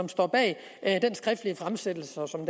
står bag den skriftlige fremsættelsestale